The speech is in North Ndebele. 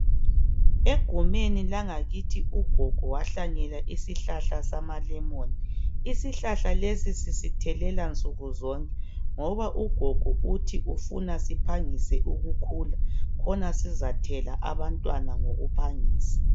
Egumeni langakithi ugogo wahlanyela isihlahla samalemoni isihlahla lesi sisithelela nsukuzonke ngoba ugogo uthi ufuna siphangise ukukhula ukhona sizathela abantwana ngokuphangisa